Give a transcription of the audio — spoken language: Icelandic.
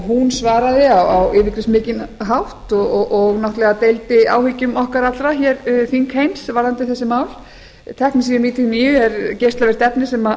hún svaraði á yfirgripsmikinn hátt og náttúrlega deildi áhyggjum okkar allra þingheims varðandi þessi mál teknesíum níutíu og níu er geislavirkt efni sem